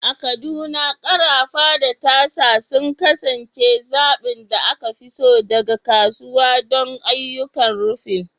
A Kaduna, ƙarafa da tasa sun kasance zaɓin da aka fi so daga kasuwa don ayyukan rufin.